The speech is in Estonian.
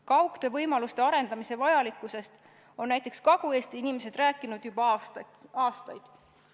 Kaugtöövõimaluste arendamise vajalikkusest on näiteks Kagu-Eesti inimesed rääkinud juba aastaid.